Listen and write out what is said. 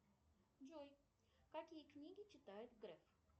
джой какие книги читает греф